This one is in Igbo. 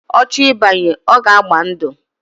Ocho ibanye, oga agba ndu.